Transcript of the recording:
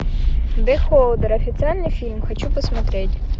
бехолдер официальный фильм хочу посмотреть